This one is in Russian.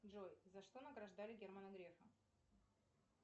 джой за что награждали германа грефа